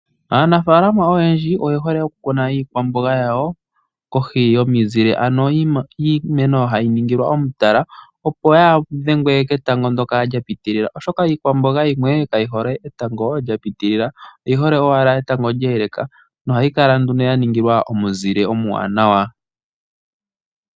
Aanafaalama oyendji oye hole okukuna iikwamboga yawo kohi yomizile, ano iimeno hayi ningilwa omutala opo yaadhengwe ketango ndoka lyapitilila oshoka, iikwamboga yimwe kayi hole etango lyapitilila oyihole owala etango lya eleka na ohayi kala nduno yaningilwa omuzile omuwanawa.